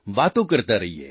વાતો કરતા રહીએ